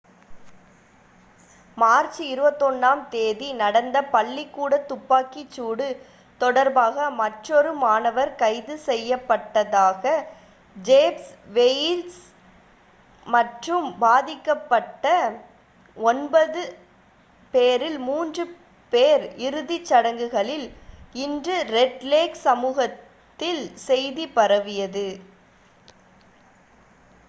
March 21-ஆம் தேதி நடந்த பள்ளிக்கூடத் துப்பாக்கிச் சூடு தொடர்பாக மற்றொரு மாணவர் கைது செய்யப்பட்டதாக ஜெஃப் வெயிஸ் மற்றும் பாதிக்கப்பட்ட ஒன்பது பேரில் 3 பேர் இறுதிச் சடங்குகளில் இன்று ரெட் லேக் சமூகத்தில் செய்தி பரவியது